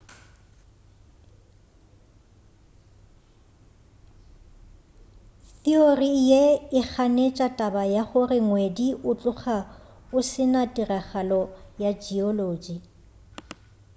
theory ye e ganetša taba ya gore ngwedi o tloga o se na tiragalo ya geology